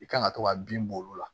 I kan ka to ka bin b'olu la